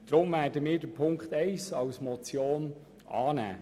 Deshalb werden wir Punkt 1 als Motion annehmen.